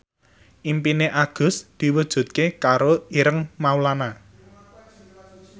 impine Agus diwujudke karo Ireng Maulana